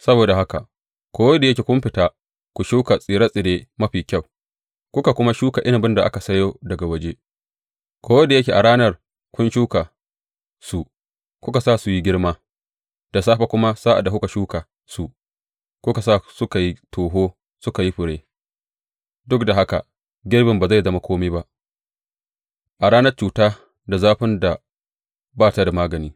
Saboda haka, ko da yake kun fita ku shuka tsire tsire mafi kyau kuka kuma shuka inabin da aka sayo daga waje, ko da yake a ranar kun shuka su, kuka sa su yi girma, da safe kuma sa’ad da kuka shuka su, kuka sa suka yi toho suka yi fure, duk da haka girbin ba zai zama kome ba a ranar cuta da zafin da ba ta da magani.